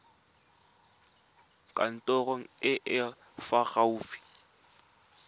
kantorong e e fa gaufi